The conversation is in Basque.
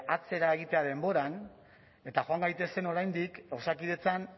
atzera egitea denboran eta joan gaitezen oraindik osakidetzan